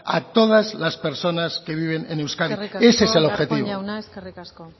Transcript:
a todas las personas que viven en euskadi ese es el objetivo eskerrik asko darpón jauna eskerrik asko